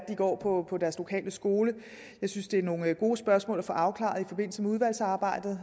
går på deres lokale skole jeg synes det er nogle gode spørgsmål at få afklaret i forbindelse med udvalgsarbejdet